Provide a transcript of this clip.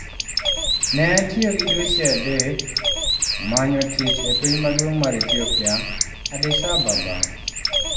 " ne atiyo gi dweche adek manyo tich e piny maduong' mar Ethiopia, Addis Ababa